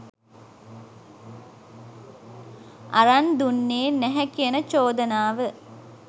අරන් දුන්නේ නැහැ කියන චෝදනාව.